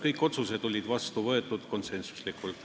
Kõik otsused olid vastu võetud konsensuslikult.